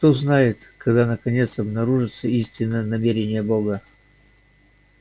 кто знает когда наконец обнаружатся истинные намерения бога